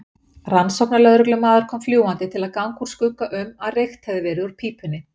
Rannsóknarlögreglumaður kom fljúgandi til að ganga úr skugga um að reykt hefði verið úr pípunni.